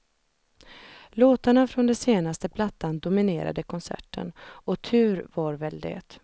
Låtarna från den senaste plattan dominerade konserten, och tur var väl det.